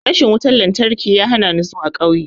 Rashin wutan-lantarki ya hanani zuwa ƙauye.